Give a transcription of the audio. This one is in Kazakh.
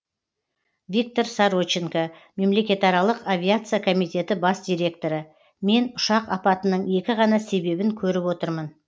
виктор сороченко мемлекетаралық авиация комитеті бас директоры мен ұшақ апатының екі ғана себебін көріп отырмын